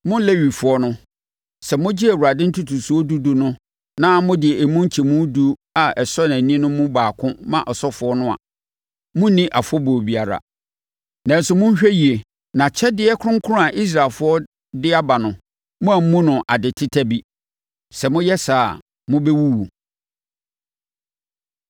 Mo Lewifoɔ no, sɛ mogye Awurade ntotosoɔ dudu no na mode emu nkyɛmu edu a ɛsɔ ani mu baako ma asɔfoɔ no a, monni afɔbuo biara. Nanso, monhwɛ yie na akyɛdeɛ kronkron a Israelfoɔ de aba no, moammu no ade teta bi. Sɛ moyɛ saa a, mobɛwuwu.”